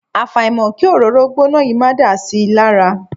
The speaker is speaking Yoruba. Àfàìmọ̀ kí òróró gbóná yìí máa dà si lára.